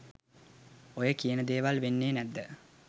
ඔය කියන දේවල වෙන්නේ නැද්ද?